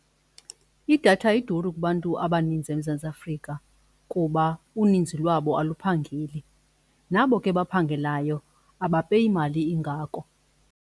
Idatha iduru kubantu abaninzi eMzantsi Afrika kuba uninzi lwabo aluphangeli nabo ke baphangelayo abapeyi mali ingako.